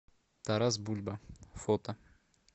тарас бульба фото